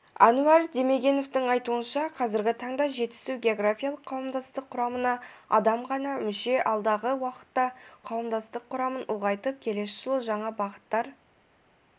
әнуар демегеновтың айтуынша қазіргі таңда жетісу географиялық қауымдастық құрамына адам ғана мүше алдағы уақытта қауымдастық құрамын ұлғайтып келесі жылы жаңа бағыттар